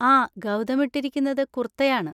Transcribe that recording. ആ, ഗൗതം ഇട്ടിരിക്കുന്നത് കുർത്തയാണ്.